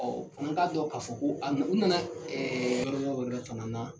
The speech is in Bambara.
Ɔ an k'a dɔn k'a fɔ ko a u nana ɛɛ yɔrɔ wɛrɛ fana na.